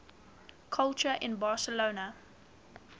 culture in barcelona